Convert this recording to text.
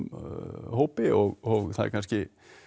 hópi og það er kannski